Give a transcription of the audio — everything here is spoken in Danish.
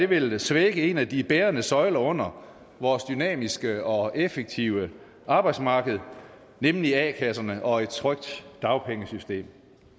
vil svække en af de bærende søjler under vores dynamiske og effektive arbejdsmarked nemlig a kasserne og et trygt dagpengesystem